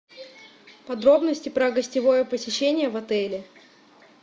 подробности про гостевое посещение в отеле